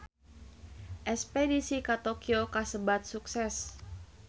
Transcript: Espedisi ka Tokyo kasebat sukses